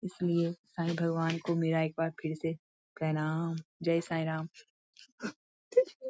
इस लिए साईं भगवान को मेरा एक बार फिर से प्रणाम जय साईं राम।